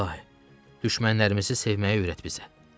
İlahi, düşmənlərimizi sevməyi öyrət bizə.